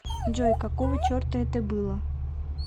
джой какого черта это было